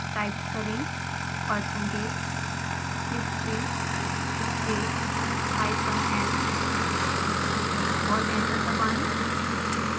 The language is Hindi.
टाइप करें percentage history space hyphen n और एंटर दबाएं